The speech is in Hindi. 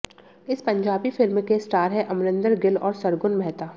इस पंजाबी फिल्म के स्टार हैं अमरिंदर गिल और सरगुन मेहता